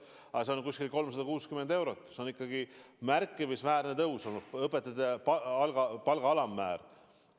Aga see tõus on umbes 60 eurot, mis on ikkagi märkimisväärne õpetajate palga alammäära tõus.